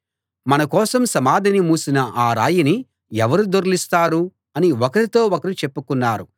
మన కోసం సమాధిని మూసిన ఆ రాయిని ఎవరు దొర్లిస్తారు అని ఒకరితో ఒకరు చెప్పుకున్నారు